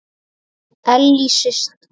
Ellý systir.